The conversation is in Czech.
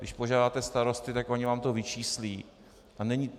Když požádáte starosty, tak oni vám to vyčíslí.